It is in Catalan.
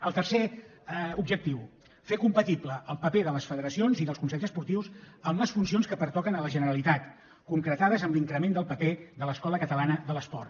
el tercer objectiu fer compatible el paper de les federacions i dels consells esportius en les funcions que pertoquen a la generalitat concretades en l’increment del paper de l’escola catalana de l’esport